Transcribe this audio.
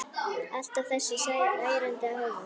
Alltaf þessi ærandi hávaði.